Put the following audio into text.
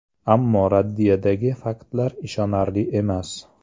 Ammo raddiyadagi faktlar ishonarli emas.